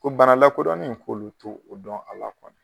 Ko bana lakodɔnnen k'olu t'o o dɔn a la .